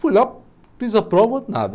Fui lá, fiz a prova, nada.